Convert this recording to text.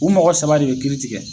U mɔgɔ saba de ye kiiri tigɛ